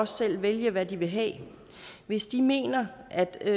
selv vælge hvad de vil have hvis de mener at det